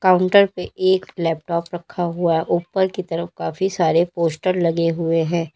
Counter पे एक laptop रखा हुआ ऊपर की तरफ काफी सारे पोस्टर लगे हुए हैं।